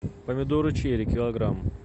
помидоры черри килограмм